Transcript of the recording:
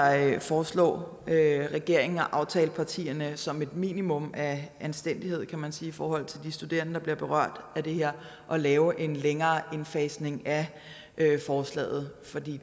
jeg foreslå regeringen og aftalepartierne som et minimum af anstændighed kan man sige i forhold til de studerende der bliver berørt af det her at lave en længere indfasning af forslaget fordi